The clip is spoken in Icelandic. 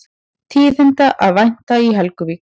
Tíðinda að vænta í Helguvík